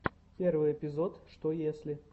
первый эпизод что если